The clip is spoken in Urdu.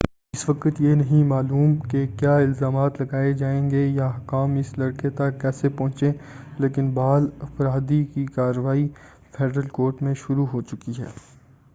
اس وقت یہ نہیں معلوم کہ کیا الزامات لگائے جائیں گے یا حکام اس لڑکے تک کیسے پہنچے لیکن بال اپرادھی کی کارروائی فیڈرل کورٹ میں شروع ہو چکی ہے